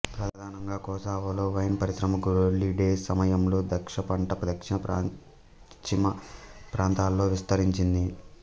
ప్రధానంగా కొసావోలో వైన్ పరిశ్రమ గ్లోరీ డేస్ సమయంలో ద్రాక్ష పంట దక్షిణ పశ్చిమ ప్రాంతాలలో విస్తరించింది